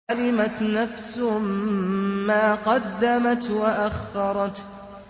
عَلِمَتْ نَفْسٌ مَّا قَدَّمَتْ وَأَخَّرَتْ